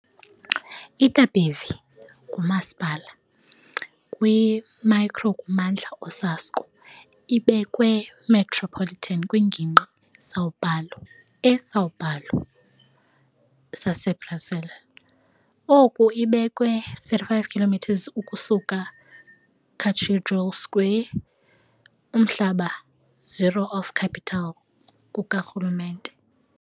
Itapevi ngumasipala kwi-micro-kummandla Osasco, ibekwe, Metropolitan kwiNgingqi São Paulo, e São Paulo, saseBrazil. Oku ibekwe-35 km ukusuka Cathedral Square, umhlaba zero of capital kukarhulumente.